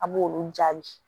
A b'olu jaabi